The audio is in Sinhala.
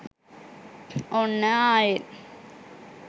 ඔන්න ආයෙත්